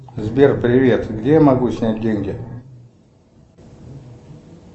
сбер привет где я могу снять деньги